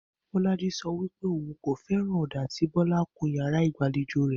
Bó̩lájí so̩ wípé òun kò fé̩ràn ò̩dà tí Kó̩lá kun yàrá ìgbàlejò rè